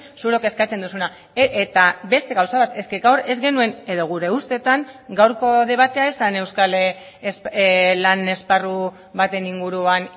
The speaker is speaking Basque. zuk eskatzen duzuna eta beste gauza bat gaur ez genuen edo gure ustetan gaurko debatea ez zen euskal lan esparru baten inguruan